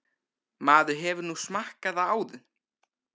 Maður hefur nú smakkað það áður.